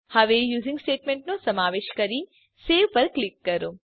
હવે યુઝિંગ સ્ટેટમેંટનો સમાવેશ કરી સવે પર ક્લિક કરો